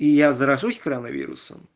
и я заражусь коронавирусом